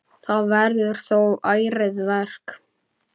Það verður þó ærið verk.